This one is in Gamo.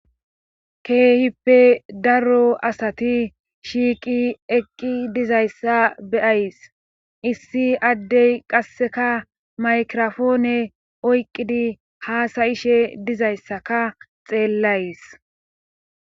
Keehippe daro asati shiiqi eqqi dizayssa beyays issi addey qasseka maykirofoone oyqqidi haasayishe dizayssaka xeellays.